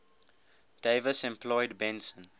davis employed benson